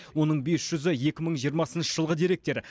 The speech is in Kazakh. оның бес жүзі екі мың жиырмасыншы жылғы деректер